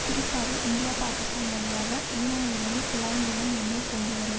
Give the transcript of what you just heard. குறிப்பாக இந்தியா பாக்கிஸ்தான் வழியாக ஈரானிலிருந்து குழாய் மூலம் எண்ணெய் கொண்டு வரும்